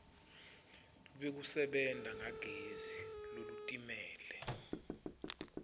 lwekusebenta ngagezi lolutimele